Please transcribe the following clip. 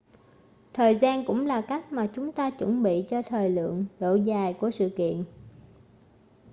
thời gian cũng là cách mà chúng ta chuẩn bị cho thời lượng độ dài của sự kiện